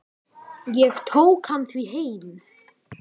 Ég tók hann því heim.